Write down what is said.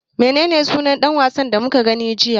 Menene sunan ɗan wasan da muka gani jiya?